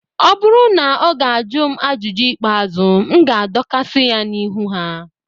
ọ bụrụ na ọ ga-ajụ m ajụjụ ikpeazụ, m ga-adọkasị ya n'ihu ha